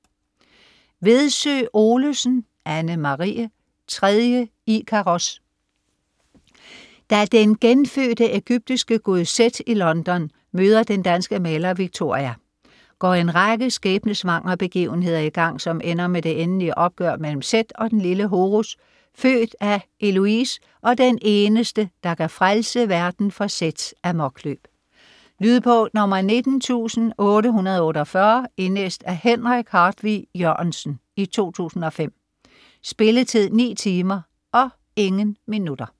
Vedsø Olesen, Anne-Marie: Tredje Ikaros Da den genfødte egyptiske gud Seth i London møder den danske maler Victoria, går en række skæbnessvangre begivenheder i gang, som ender med det endelige opgør mellem Seth og den lille Horus, født af Heloise, og den eneste der kan frelse verden fra Seths amokløb. Lydbog 19848 Indlæst af Henrik Hartvig Jørgensen, 2005. Spilletid: 9 timer, 0 minutter.